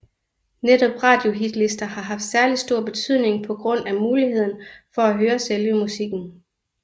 Netop radiohitlister har haft særlig stor betydning på grund af muligheden for at høre selve musikken